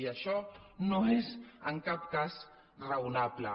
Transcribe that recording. i això no és en cap cas raonable